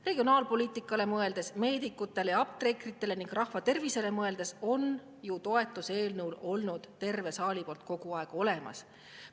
Regionaalpoliitikale mõeldes, meedikutele ja apteekritele ning rahva tervisele mõeldes on eelnõul ju kogu aeg olnud olemas terve saali toetus.